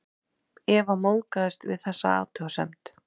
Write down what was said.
Eva móðgast við þessa athugasemd.